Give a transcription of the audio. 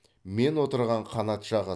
мен отырған қанат жағы